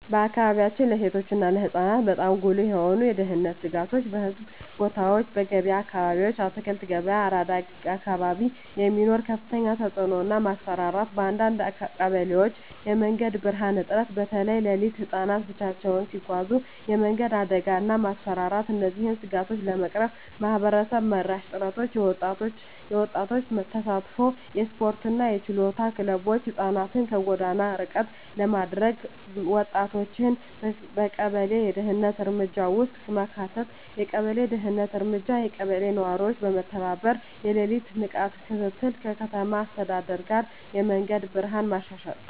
በአካባቢያችን ለሴቶች እና ለህፃናት በጣም ጉልህ የሆኑ የደህንነት ስጋቶች :- በሕዝብ ቦታዎች *በገበያ አካባቢዎች (አትክልት ገበያ፣ አራዳ አካባቢ) የሚኖር ከፍተኛ ተጭነት እና ማስፈራራት *በአንዳንድ ቀበሌዎች የመንገድ ብርሃን እጥረት (በተለይ ሌሊት) *ህፃናት ብቻቸውን ሲጓዙ የመንገድ አደጋ እና ማስፈራራት እነዚህን ስጋቶች ለመቅረፍ ማህበረሰብ መራሽ ጥረቶች :- የወጣቶች ተሳትፎ *የስፖርትና የችሎታ ክለቦች (ህፃናትን ከጎዳና ርቀት ለማድረግ) *ወጣቶችን በቀበሌ የደህንነት እርምጃ ውስጥ ማካተት የቀበሌ ደህንነት እርምጃ *የቀበሌ ነዋሪዎች በመተባበር የሌሊት ንቃት ክትትል *ከከተማ አስተዳደር ጋር የመንገድ ብርሃን ማሻሻያ